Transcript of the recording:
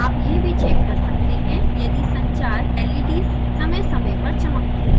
आप यह भी चेक कर सकते हैं यदि संचार leds समय समय पर चमकती हैं